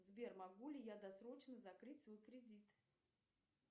сбер могу ли я досрочно закрыть свой кредит